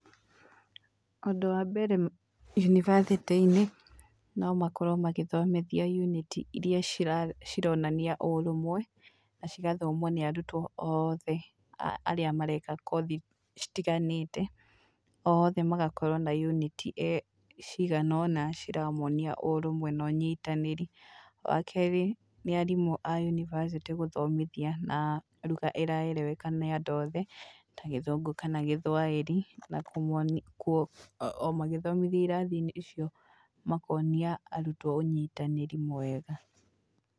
Ũndũ wa mbere yunibathĩtĩ-inĩ no makorwo magĩthomithia yunĩti iria cironania ũrũmwe na cigathomwo nĩ andũ ta othe arĩa mareka kothi citiganĩte. Othe magakorwo na yunĩti cigana ũna ciramonia ũrũmwe na ũnyitanĩri. Wa kerĩ nĩ arimũ a yunibacĩtĩ gũthomithia na ruga ĩraereweka nĩ andũ othe, ta gĩthũngũ kana gĩthwaĩri na o magĩthomithia irathi-inĩ icio makonia arutwo ũnyitanĩri mwega.